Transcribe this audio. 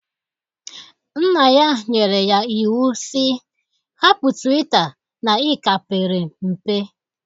Nna ya nyere ya iwu sị, hapụ twita na ị ka pere mpe!